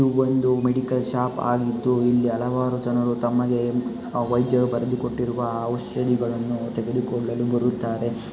ಇದು ಒಂದು medical shop ಆಗಿದ್ದುಇಲ್ಲಿ ಹಲವಾರು ಜನರು ತಮಗೆ ಅ ವ್ಯೆದ್ಯರು ಬರೆದುಕೊಟ್ಟಿರುವ ಔಷಧಿಗಳನ್ನು ತೆಗೆದುಕೊಳ್ಳಲು ಬರುತ್ತಾರೆ --